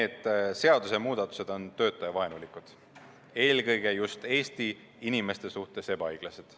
Need seadusemuudatused on töötajavaenulikud, eelkõige just Eesti inimeste suhtes ebaõiglased.